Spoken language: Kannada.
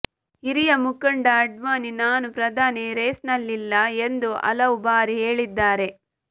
ಹಿರಿಯ ಮುಖಂಡ ಆಡ್ವಾಣಿ ನಾನು ಪ್ರಧಾನಿ ರೇಸ್ನಲ್ಲಿಲ್ಲ ಎಂದು ಹಲವು ಬಾರಿ ಹೇಳಿದ್ದಾರೆ